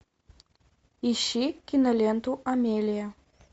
ищи киноленту амелия